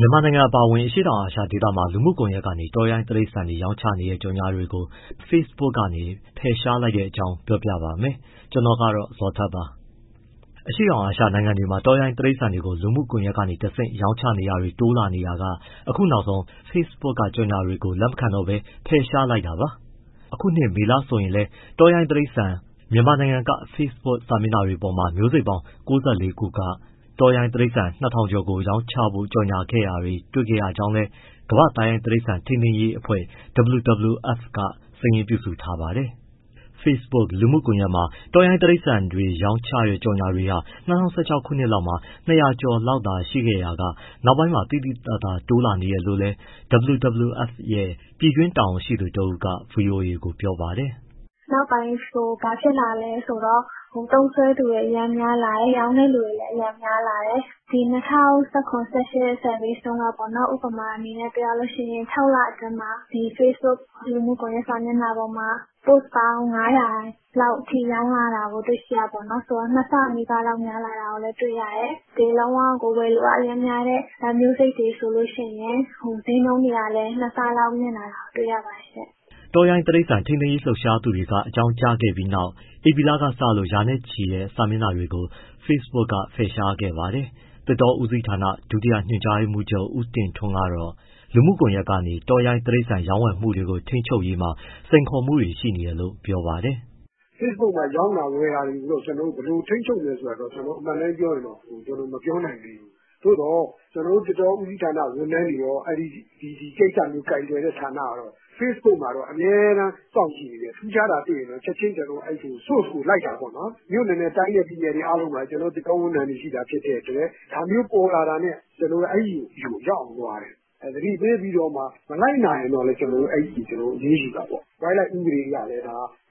မြန်မာနိုင်ငံ အပါအဝင် အရှေ့တောင်အာရှဒေသမှာ လူမှုကွန်ရက်ကနေ တောရိုင်းတိရစ္ဆာန်တွေ ရောင်းချနေတဲ့ ကြော်ငြာတွေကို Facebook က ဖယ်ရှားလိုက်တဲ့အကြောင်း ပြောပြပါမယ်။ ဗွီအိုအေမြန်မာပိုင်းသတင်းထောက် ကိုဇော်ထက်က သတင်းပေးပို့ထားပါတယ်။ အရှေ့တောင်အာရှနိုင်ငံတွေမှာ တောရိုင်းတိရစ္ဆာန်တွေကို လူမှုကွန်ရက်တွေကတဆင့် ရောင်းချနေတာတွေ တိုးလာနေရာက အခုနောက်ဆုံး Facebook က ကြော်ငြာတွေကို လက်မခံတော့ပဲ ဖယ်ရှားလိုက်တာပါ။ ဒီနှစ်မေလအထိဆိုရင်လည်း တောရိုင်းတိရစ္ဆာန် မြန်မာနိုင်ငံက Facebook စာမျက်နှာတွေပေါ်မှာ မျိုးစိတ်ပေါင်း ၉၄ ခုက တောရိုင်းတိရစ္ဆာန် ၂,၀၀၀ ကျော်ကို ရောင်းချဖို့ ကြော်ငြာခဲ့တာ တွေ့ရှိခဲ့ရကြောင်းလည်း ကမ္ဘာ့သားရိုင်းတိရစ္ဆာန် ထိန်းသိမ်းရေးအဖွဲ့ WWF က စာရင်းပြုစုထားပါတယ်။ Facebook လူမှုကွန်ရက်မှာ တောရိုင်းတိရစ္ဆာန်တွေ ရောင်းချတဲ့ကြော်ငြာတွေဟာ ၂၀၁၆ ခုနှစ်လောက်မှာ ၂၀၀ ကျော်လောက်သာ ရှိခဲ့ရာက နောက်ပိုင်းမှာ သိသိသာသာ တိုးလာနေတယ်လို့လည်း WWF ရဲ့ ပြည်တွင်းတာဝန်ရှိသူတဦးက ဗွီအိုအေကို ပြောပါတယ်။ “နောက်ပိုင်း ဘာဖြစ်လာလဲဆိုတော့ သုံးစွဲသူတွေ အရမ်းများလာတယ်၊ ရောင်းတဲ့သူတွေလည်း အရမ်းများလာတယ်။ ဒီ ၂၀၁၇- ၁၈ survey တုန်းကဆို ဥပမာအနေနဲ့ ပြောရရင် ၆ လအတွင်းမှာ Facebook လူမှုကွန်ရက် စာမျက်နှာပေါ်မှာ post ပေါင်း ၅၀၀ လောက်အထိ ရောင်းရတာကို တွေ့ရတယ်ဆိုတော့ နှစ်ဆနီးပါး များလာတာကို တွေ့ရတယ်။ လုံးဝကို ဝယ်လိုအား အရမ်းများတဲ့ မျိုးစိတ်တွေဆိုရင် ဈေးနှုန်းတွေကလည်း ၂ဆလောက် မြင့်လာတာကို တွေ့ရပါတယ်။” တောရိုင်းတိရစ္ဆာန် ထိန်းသိမ်းရေး လှုပ်ရှားသူတွေက အကြောင်းကြားခဲ့ပြီးနောက် ဧပြီလကစလို့ ရာနဲ့ချီတဲ့ စာမျက်နှာတွေကို Facebook ကဖယ်ရှားခဲ့ပါတယ်။ သစ်တောဦးစီးဌာန ဒုညွှန်ကြားရေးမှူးချုပ် ဦးတင်ထွန်းတော့လူမှုကွန်ရက်ကနေ တောရိုင်းတိရိစ္ဆာန် ရောင်းဝယ်မှုတွေကို ထိန်းချုပ်ရေးမှာ စိန်ခေါ်မှုတွေ ရှိနေတယ်လို့ ပြောပါတယ်။ “Facebook မှာ ရောင်းတာဝယ်တာတွေကိုတော့ ကျနော်တို့ ဘယ်လိုထိန်းချုပ်မယ်ဆိုတာတော့ အမှန်အတိုင်းပြောရင်တော့ မပြောနိုင်သေးဘူး။ သို့သော် ကျနော်တို့ သစ်တောဦးစီးဌာန ဝန်ထမ်းတွေရော ဒီကိစ္စမျိုးကိုင်တွယ်တဲ့ ဌာနကတော့ Facebook မှာ အမြဲတမ်း စောင့်ကြည့်နေတယ်။ ထူးခြားတာတွေ့ရင် ကျနော်တို့ချက်ချင်း source ကိုလိုက်တာပေါ့နော်၊ မြို့နယ်နဲ့ တိုင်းနဲ့ပြည်နယ်အားလုံးမှာ ကျနော်တို့သစ်တော ဝန်ထမ်းတွေရှိတာ ဖြစ်တဲ့အတွက် ဒါမျိုးပေါ်လာတာနဲ့ ကျနော်တို့ အဲဒီလူဆီ ရောက်အောင်သွားတယ်၊ သတိပေးပြီးလို့မှ မလိုက်နာရင်တော့လည်း ကျနော်တို့ အရေးယူတာပေါ့၊ wildlife ဥပဒေအရလည်း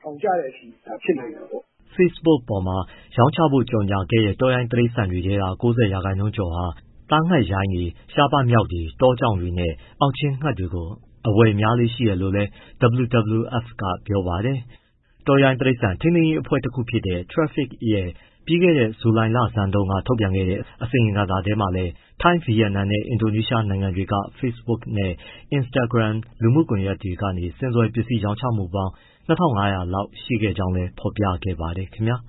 ထောင်ကျတဲ့အထိ ဖြစ်နိုင်တာပေါ့။” Facebook ပေါ်မှာ ရောင်းချဖို့ ကြော်ငြာခဲ့တဲ့ တောရိုင်းတိရစ္ဆာန်တွေထဲက ၉၀ ရာခိုင်နှုန်းကျော်ဟာ အရှင်တွေဖြစ်ကြပြီး သားငှက်ရိုင်းတွေ၊ ရှားပါးမျောက်တွေ၊ တောကြောင်တွေနဲ့ အောက်ချင်းငှက်တွေကို အဝယ်များလေ့ရှိတယ်လို့လည်း WWF ကပြောပါတယ်။ တောရိုင်းတိရစ္ဆာန် ထိန်းသိမ်းရေး လှုပ်ရှားမှုအဖွဲ့တခုဖြစ်တဲ့ TRAFFIC ရဲ့ ပြီးခဲ့တဲ့ ဇူလိုင်လဆန်းမှာတုန်းက ထုတ်ပြန်ခဲ့တဲ့ အစီရင်ခံစာထဲမှာလည်း ထိုင်း၊ ဗီယက်နမ်နဲ့ အင်ဒိုနီးရှား နိုင်ငံတွေက Facebook နဲ့ Instagram လူမှုကွန်ရက်တွေကနေ ဆင်စွယ်ပစ္စည်း ရောင်းချမှုပေါင်း ၂,၅၀၀ လောက် ရှိခဲ့ကြောင်းလည်း ဖော်ပြခဲ့ပါတယ်ခင်ဗျာ